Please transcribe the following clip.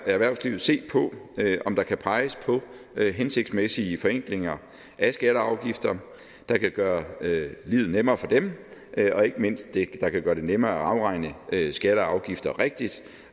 erhvervslivet se på om der kan peges på hensigtsmæssige forenklinger af skatter og afgifter der kan gøre livet nemmere for dem og ikke mindst det der kan gøre det nemmere at afregne skatter og afgifter rigtigt